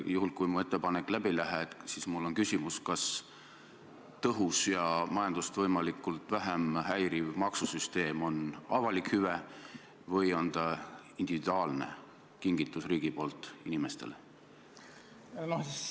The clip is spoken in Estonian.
Juhul kui mu ettepanek läbi ei lähe, siis mul on küsimus: kas tõhus ja majandust võimalikult vähe häiriv maksusüsteem on avalik hüve või on see individuaalne kingitus riigilt inimestele?